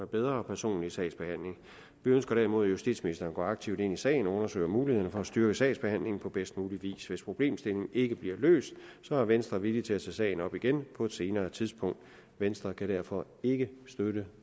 bedre personlig sagsbehandling vi ønsker derimod at justitsministeren går aktivt ind i sagen og undersøger mulighederne for at styrke sagsbehandlingen på bedst mulig vis hvis problemstillingen ikke bliver løst er venstre villig til at tage sagen op igen på et senere tidspunkt venstre kan derfor ikke støtte